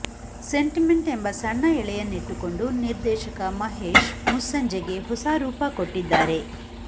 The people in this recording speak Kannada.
ಸೆಂಟಿಮೆಂಟ್ ಎಂಬ ಸಣ್ಣ ಎಳೆಯನ್ನಿಟ್ಟುಕೊಂಡು ನಿರ್ದೇಶಕ ಮಹೇಶ್ ಮುಸ್ಸಂಜೆಗೆ ಹೊಸ ರೂಪ ಕೊಟ್ಟಿದ್ದಾರೆ